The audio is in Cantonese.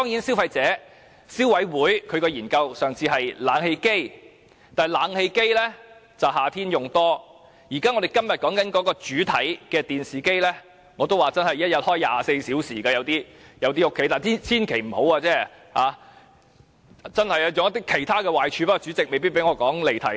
消委會上次是研究冷氣機的，但冷氣機只會在夏天使用，但今天的主題電視機，在某些家庭卻是每天24小時長時間開啟的——大家千萬不要這樣做，因為有很多壞處，但主席未必會讓我解釋，因為有可能離題。